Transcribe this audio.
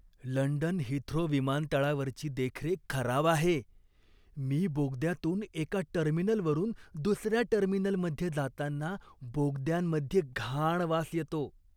London Heathrow विमानतळावरची देखरेख खराब आहे. मी बोगद्यातून एका टर्मिनलवरून दुसऱ्या टर्मिनलमध्ये जाताना, बोगद्यांमध्ये घाण वास येतो.